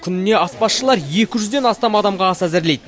күніне аспазшылар екі жүзден астам адамға ас әзірлейді